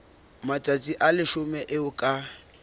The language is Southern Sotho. matsatsi a leshome eo ka